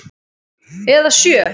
Eða sjö.